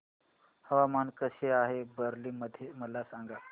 हवामान कसे आहे बरेली मध्ये मला सांगा